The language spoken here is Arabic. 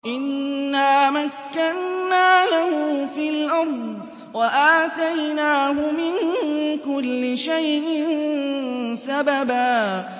إِنَّا مَكَّنَّا لَهُ فِي الْأَرْضِ وَآتَيْنَاهُ مِن كُلِّ شَيْءٍ سَبَبًا